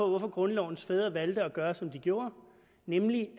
hvorfor grundlovens fædre valgte at gøre som de gjorde nemlig